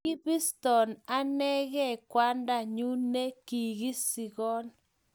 Kibiston anegei kwanda nyu ne kisikon